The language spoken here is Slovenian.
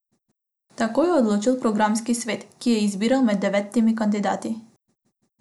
Tako je odločil programski svet, ki je izbiral med devetimi kandidati.